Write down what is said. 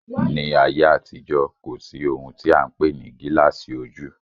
Ní ayé àtijó, kò sí ohun tí a n pè ní gilasi ojú